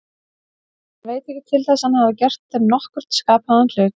Hann veit ekki til þess að hann hafi gert þeim nokkurn skapaðan hlut.